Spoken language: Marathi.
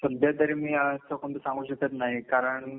सध्यातरी मी असं कोनात सांगू शकत नाही कारण